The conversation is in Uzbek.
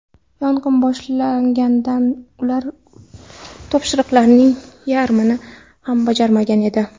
Yong‘in boshlanganda ular topshiriqlarning yarmini ham bajarmagan edi.